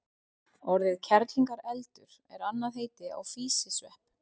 orðið kerlingareldur er annað heiti á físisvepp